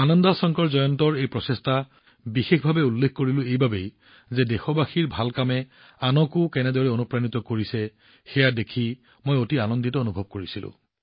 আনন্দ শংকৰ জয়ন্তৰ এই প্ৰচেষ্টাক বিশেষভাৱে উল্লেখ কৰিলোঁ কাৰণ দেশবাসীৰ ভাল কামে আনকো কেনেদৰে অনুপ্ৰাণিত কৰিছে সেয়া দেখি মই অতি আনন্দিত অনুভৱ কৰিছিলো